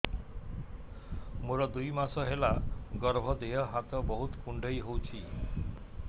ମୋର ଦୁଇ ମାସ ହେଲା ଗର୍ଭ ଦେହ ହାତ ବହୁତ କୁଣ୍ଡାଇ ହଉଚି